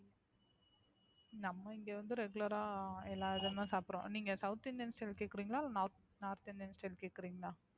நம்ம இங்க வந்து Regular ஆ எல்லா இதுவுமே சாப்புடுவோம்? நீங்க South Indian style கேக்குறீங்களா? இல்ல North North Indian style கேக்குறீங்களா?